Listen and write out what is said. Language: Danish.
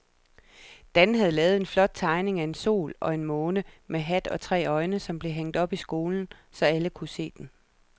Dan havde lavet en flot tegning af en sol og en måne med hat og tre øjne, som blev hængt op i skolen, så alle kunne se den.